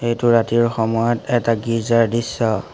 এইটো ৰাতিৰ সময়ত এটা গীৰ্জাৰ দৃশ্য।